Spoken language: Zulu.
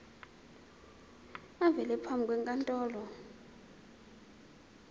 avele phambi kwenkantolo